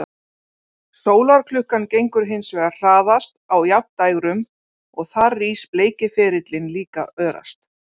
Sólarklukkan gengur hins vegar hraðast á jafndægrum og þar rís bleiki ferillinn líka örast.